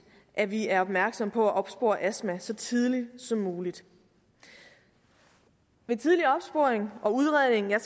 at vi er opmærksomme på at opspore astma så tidligt som muligt ved tidlig opsporing og udredning